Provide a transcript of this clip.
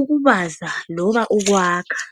ukubaza loba ukwakha.